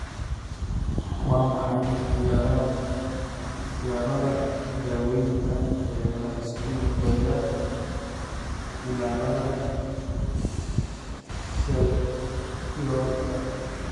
Waa maxay ikhtiyaarrada daawaynta ee la isku dayay cillada Shapiroka?